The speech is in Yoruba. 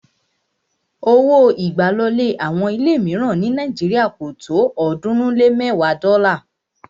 Owó ìgbàlọlé àwọn ilé míìràn ní Nàíjírìà kò tó ọ̀ọ́dúnrún lé mẹ́ẹ̀wa dọ́là